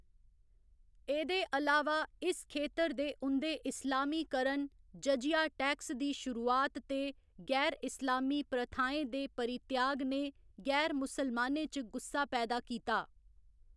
एह्दे अलावा इस खेतर दे उं'दे इस्लामीकरण, जजिया टैक्स दी शुरुआत ते गैर इस्लामी प्रथाएं दे परित्याग ने गैर मुसलमानें च गुस्सा पैदा कीता।